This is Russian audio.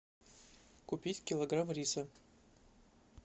купить килограмм риса